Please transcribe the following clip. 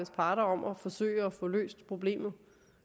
parter om at forsøge at få løst problemet